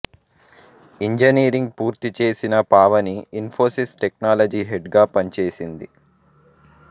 engineering పూర్తిచేసిన Pavani Infosys technology head గా పనిచేసింది